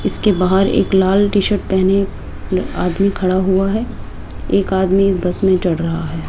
इसके बाहर एक लाल टी शर्ट पहने आदमी खड़ा हुआ है एक आदमी बस में चढ़ रहा है।